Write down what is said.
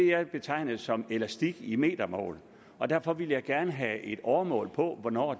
jeg betegnede som elastik i metermål og derfor vil jeg gerne have et åremål på hvornår